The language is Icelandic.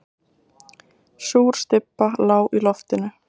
Súr stybba lá í loftinu.